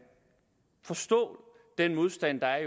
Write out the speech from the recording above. forstå den modstand der er